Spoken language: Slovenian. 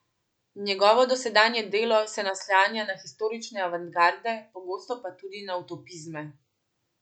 Njegovo dosedanje delo se naslanja na historične avantgarde, pogosto pa tudi na utopizme.